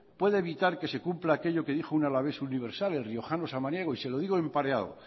puede evitar que se cumpla aquello que dijo un alavés universal el riojano samaniego y se lo digo en pareado